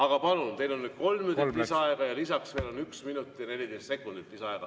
Aga palun, teil on nüüd kolm minutit lisaaega ja lisaks veel üks minut ja 14 sekundit lisaaega.